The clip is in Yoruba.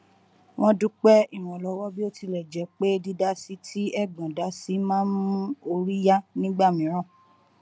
wọn dúpẹ ìrànlọwọ bí ó tilẹ jẹ pé dídásí tí ẹgbọn dá si má n mú orí yá nígbà mìíràn